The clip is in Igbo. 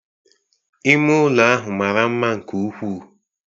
Ime ụlọ ahụ mara mma nke ukwuu